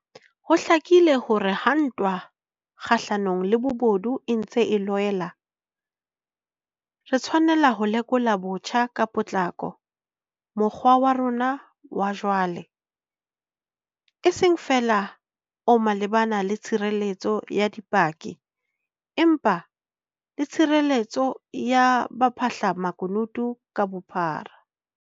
Ho hlakile hore ha ntwa kgahlanong le bobodu e ntse e loela, re tshwanela ho lekola botjha ka potlako mokgwa wa rona wa jwale, e seng feela o malebana le tshireletso ya dipaki, empa le tshireletsong ya baphahlamakunutu ka bophara.